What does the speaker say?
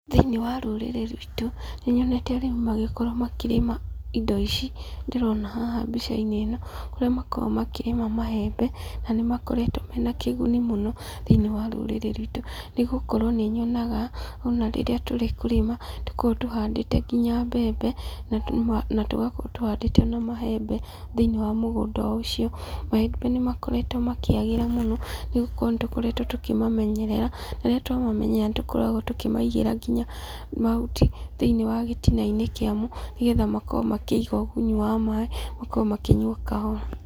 Thĩiniĩ wa rũrĩrĩ ruitũ nĩnyonete arĩmi magĩkorũo makĩrĩma indo ici ndĩrona haha mbicainĩ ĩno kũrĩa makoragũo makĩrĩma maembe na nĩmakoretũo na kĩguni mũno thĩiniĩ wa rũrĩrĩ ruitũ nĩgũkorũo nĩnyonaga ona rĩrĩa tũrĩ kũrĩma tũkoragũo tũhandĩte nginya mbembe na tũgakorũo rũhandĩte ona maembe thĩiniĩ wa mũgũnda o ũcio, maembe nĩmakoretũo makĩagĩra mũno nĩgũkorũo nĩtũkoretũo tũkĩmamenyerera na rĩrĩa tũamamenyerera nĩtũkoragũo tũkĩmaigĩra nginya mahuti thĩiniĩ wa gĩtinainĩ kĩamo nĩgetha makorũo makĩiga ũgunyi wa maaĩ makorũo makĩnyua kahora.